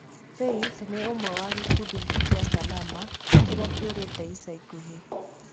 Faith nĩ ũmwe wa gĩkundi kĩa Salama kĩrĩa kĩũrĩte ica ikuhĩ.